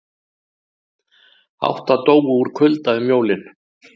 Átta dóu úr kulda um jólin